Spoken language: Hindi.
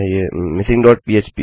मिसिंग डॉट पह्प